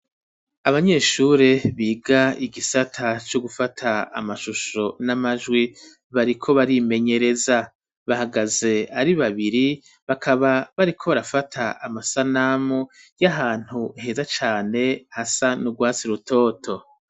abanyeshure biga igisata co gufata amashusho n'amajwi bariko barimenyereza bahagaze ari babiri bakaba bariko barafata amasanamu y'ahantu heza cane hasa n'urwasi rutoto